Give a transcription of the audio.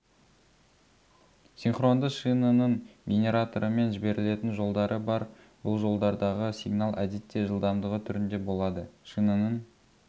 синхронды шинаның генераторымен жіберілетін жолдары бар бұл жолдардағы сигнал әдетте жылдамдығы түрінде болады шинаның